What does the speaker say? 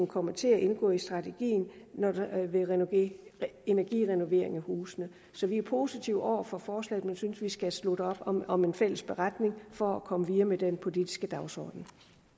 komme til at indgå i strategien ved energirenovering af husene så vi er positive over for forslaget men synes vi skal slutte op om om en fælles beretning for at komme videre med den politiske dagsorden